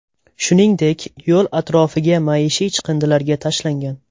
Shuningdek, yo‘l atrofiga maishiy chiqindilarga tashlangan.